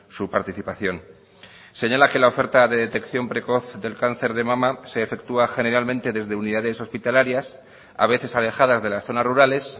su participación señala que la oferta de detección precoz del cáncer de mama se efectúa generalmente desde unidades hospitalarias a veces alejadas de las zonas rurales